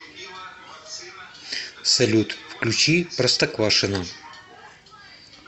салют включи простоквашино